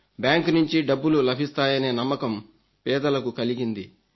bank నుంచి డబ్బులు లభిస్తాయనే నమ్మకం పేదలకు కలిగింది